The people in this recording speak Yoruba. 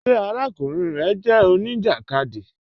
Ṣé àràkùnrin rẹ jẹ oníjakádí?